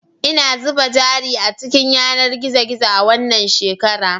Ina zuba jari a cikin yanar gizo gizo a wannan shekara